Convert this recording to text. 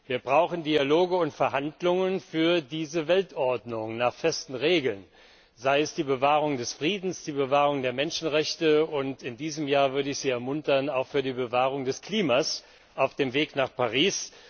Wir brauchen Dialoge und Verhandlungen für diese Weltordnung nach festen Regeln, sei es hinsichtlich der Bewahrung des Friedens, der Bewahrung der Menschenrechte, und in diesem Jahr auch hinsichtlich der Bewahrung des Klimas auf dem Weg nach Paris.